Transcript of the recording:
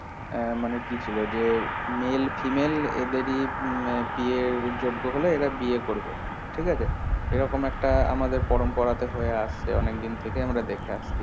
হম মানে কি ছিল যে male female এদের ই উম বিয়ের যোগ্য হলে এরা বিয়ে করবে ঠিক আছে এরকম একটা আমাদের পরম্পরা তে হয়ে আসছে অনেকদিন থেকে আমরা দেখে আসছি